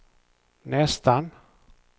nästan